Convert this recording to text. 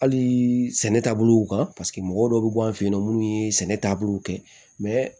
Hali sɛnɛ taabolo kan paseke mɔgɔ dɔ bɛ bɔ an fɛ yen nɔ munnu ye sɛnɛ taabolo kɛ